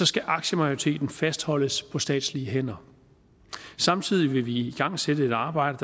skal aktiemajoriteten fastholdes på statslige hænder samtidig vil vi igangsætte et arbejde